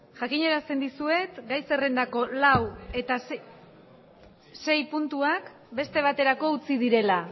jakinarazten dizuet gai zerrendako lau eta sei puntuak beste baterako utzi direla